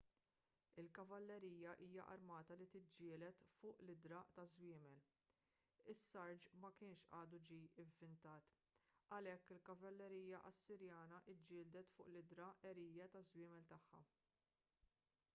il-kavallerija hija armata li tiġġieled fuq l-idhra taż-żwiemel is-sarġ ma kienx għadu ġie ivvintat għalhekk il-kavallerija assirjana ġġieldet fuq l-idhra għerja taż-żwiemel tagħha